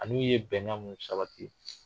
An'u ye bɛnkan mun sabati.